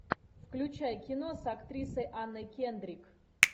включай кино с актрисой анной кендрик